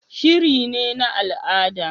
Shiri ne na al'ada